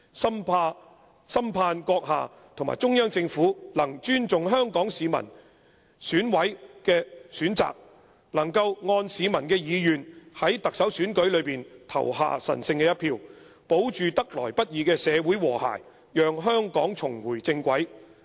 "深盼閣下和中央政府能尊重香港市民，讓選委能夠按市民意願在特首選舉中投下神聖一票，保住得來不易的社會和諧，讓香港重回正軌。